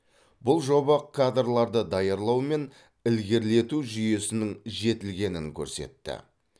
бұл жоба кадрларды даярлау мен ілгерілету жүйесінің жетілгенін көрсетті